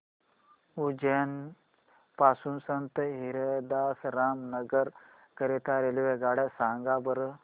उज्जैन पासून संत हिरदाराम नगर करीता रेल्वेगाड्या सांगा बरं